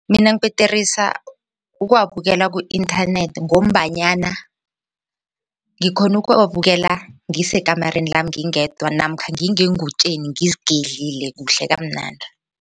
Mina ngibhederisa ukuwabukela ku-inthanethi ngombanyana ngikhona ukuwabukela ngisekamareni lami ngingedwa namkha ngingeengutjeni ngizigedlile kuhle kamnandi.